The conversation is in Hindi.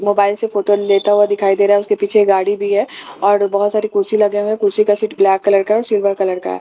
मोबाइल से फोटो लेता हुआ दिखाई दे रहा है उसके पीछे गाड़ी भी है और बहुत सारे कुर्सी लगे हुए हैं कुर्सी का सीट ब्लैक कलर का सिल्वर कलर का